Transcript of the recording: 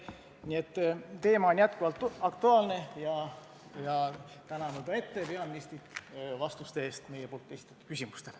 Nii et teema on jätkuvalt aktuaalne ja tänan juba ette peaministrit vastuste eest meie esitatud küsimustele.